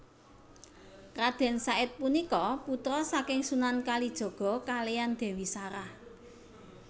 Radèn Said punika putra saking Sunan Kalijaga kaliyan Dèwi Sarah